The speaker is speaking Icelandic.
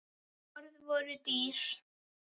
Orð voru dýr.